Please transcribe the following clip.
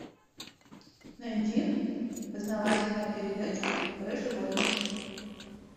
найди познавательную передачу про животных